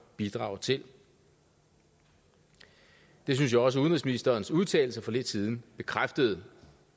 bidrager til det det synes jeg også at udenrigsministerens udtalelser for lidt siden bekræftede